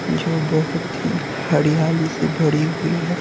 जो बहुत ही हड़ियाली से भड़ी हुई है।